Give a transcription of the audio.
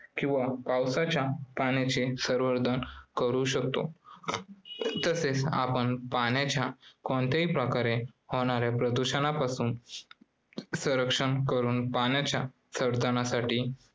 किंवा पावसाच्या पाण्याचे संवर्धन करू शकतो. तसेच आपण पाण्याचे कोणत्याही प्रकारे होणाऱ्या प्रदूषणापासून संरक्षण करून पाण्याच्या संवर्धनासाठी